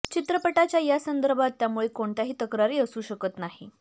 चित्रपटाचे या संदर्भात त्यामुळे कोणत्याही तक्रारी असू शकत नाही